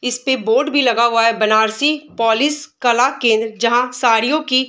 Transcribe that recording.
इस पे बोर्ड भी लगा हुआ है बनारसी पोलिश कला केंद्र जहाँ साड़ियों की --